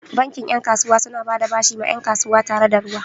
Bankin 'yan kasuwa suna bada bashi ma 'yan kasuwa tare da ruwa.